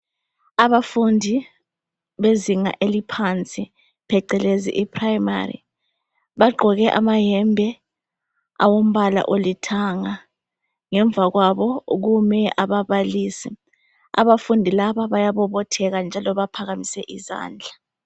Abafundi bezinga eliphansi phecelezi I primary bagqoke amayembe awombala olithanga ngemva kwabo kume abababalisi abafundi laba bayabobotheka njalo baphakamise izandla.